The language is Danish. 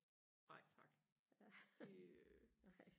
nej tak øh